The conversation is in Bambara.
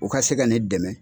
U ka se ka ne dɛmɛ.